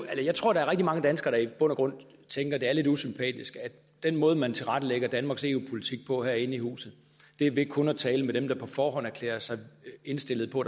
jeg tror der er rigtig mange danskere der i bund og grund tænker at det er lidt usympatisk at den måde man tilrettelægger danmarks eu politik på herinde i huset er ved kun at tale med dem der på forhånd erklærer sig indstillet på